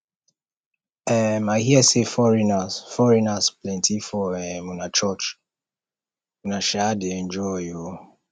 um i hear say foreigners foreigners plenty for um una church una um dey enjoy oo